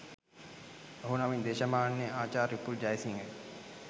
ඔහු නමින් දේශමාන්‍ය ආචාර්ය උපුල් ජයසිංහය